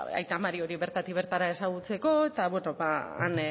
aita mari hori bertatik bertara ezagutzeko eta han